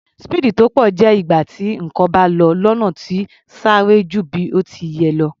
Speed tó pọ̀ jẹ́ ìgbà tí nǹkan bá lọ lọ́nà tó sáré ju bí ó ti yẹ lọ.